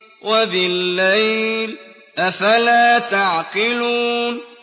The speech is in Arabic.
وَبِاللَّيْلِ ۗ أَفَلَا تَعْقِلُونَ